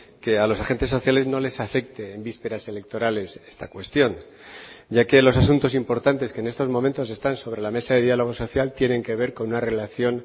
que a los agentes sociales no les afecte en vísperas electorales esta cuestión ya que los asuntos importantes que en estos momentos están sobre la mesa de diálogo social tienen que ver con una relación